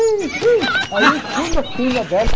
Aí eu fui na crina dela.